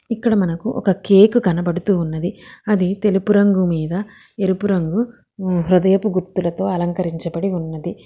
ఇక్కడ మనకు ఒక కేక్ కనబడుతూ ఉన్నది అది తెలుపు రంగు మీద ఎరుపు రంగు హృదయపు గుర్తులతో అలకరించ బడి ఉన్నది.